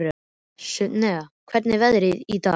Sunnefa, hvernig er veðrið í dag?